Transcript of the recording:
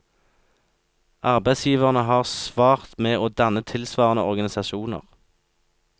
Arbeidsgiverne har svart med å danne tilsvarende organisasjoner.